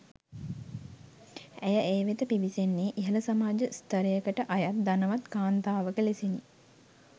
ඇය ඒ වෙත පිවිසෙන්නේ ඉහළ සමාජ ස්ථරයකට අයත් ධනවත් කාන්තාවක ලෙසිනි.